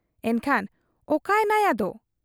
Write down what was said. ᱮᱱᱠᱷᱟᱱ ᱚᱠᱟᱭᱮᱱᱟᱭ ᱟᱫᱚ ?